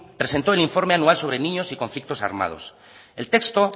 presentó el informe anual sobre niños y conflictos armados el texto